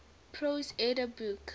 prose edda book